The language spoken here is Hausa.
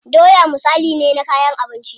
Doya misali ne na kayan abinci.